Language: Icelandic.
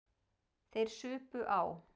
Þeir supu á.